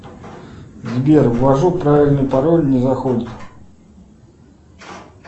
сбер ввожу правильный пароль не заходит